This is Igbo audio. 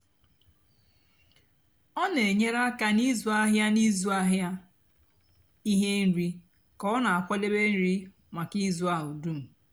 ọ nà-ènyere ákà n'ịzụ áhịa n'ịzụ áhịa íhè nri kà ọ nà-àkwadebe nri mákà ízú áhụ dum.